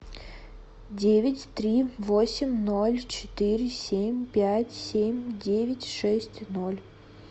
девять три восемь ноль четыре семь пять семь девять шесть ноль